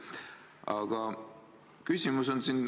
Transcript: Aga küsimus.